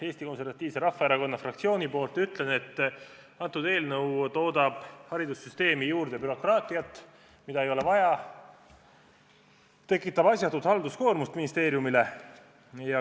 Eesti Konservatiivse Rahvaerakonna fraktsiooni nimel ütlen, et eelnõu toodab haridussüsteemi juurde bürokraatiat, mida ei ole vaja, ja tekitab asjatut halduskoormust ministeeriumile.